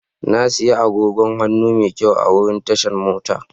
Na sayi agogon hannu mai kyau a wurin tashan mota.